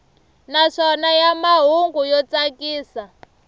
naswona ya mahungu yo tsakisa